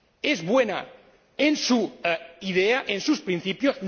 Es buena en su idea, en sus principios.